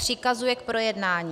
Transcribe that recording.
Přikazuje k projednání